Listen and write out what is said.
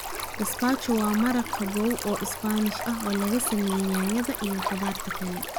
Gazpacho waa maraq qabow oo Isbaanish ah oo laga sameeyay yaanyada iyo khudaarta kale.